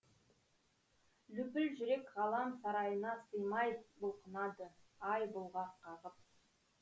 лүпіл жүрек ғалам сарайына сыймай бұлқынады ай бұлғақ қағып